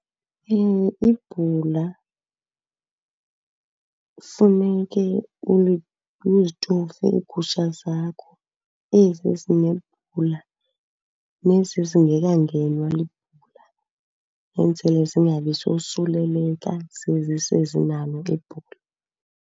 Ibhula kufuneke uzitofe iigusha zakho, ezi ezinebhula nezi ezingekangenwa libhula, enzele zingabisosuleleka zezi sezinalo ibhula.